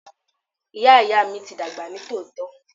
Ìyá Ìyá mi ti dàgbà ní tòótọ́.